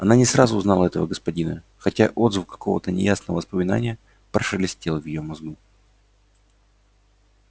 она не сразу узнала этого господина хотя отзвук какого-то неясного воспоминания прошелестел в её мозгу